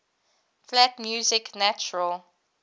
flat music natural